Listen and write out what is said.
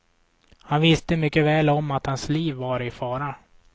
Han visste mycket väl om att hans liv var i fara.